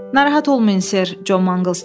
Narahat olmayın Ser, Con Manglz dedi.